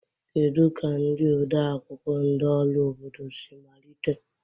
Kedu ka ndị odeakwụkwọ ndị ọrụ obodo si malite?